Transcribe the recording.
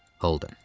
Holden.